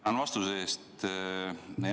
Tänan vastuse eest!